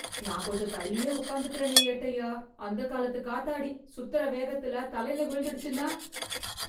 நான் கொஞ்சம் தள்ளியே உக்காந்துக்கறேனே ஏட்டய்யா, அந்தக் காலத்து காத்தாடி சுத்தற வேகத்துல தலையில விழுந்துடுச்சுன்னா..